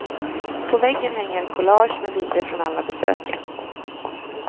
På väggen hänger collage med bilder från alla besöken.